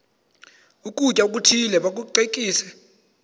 ukutya okuthile bakucekise